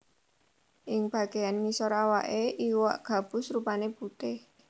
Ing bagéyan ngisor awaké iwak gabus rupané putih